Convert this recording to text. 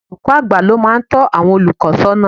Olùkọ́ àgbà ni ó máa ń tọ́ àwọn olùkọ́ sọ́nà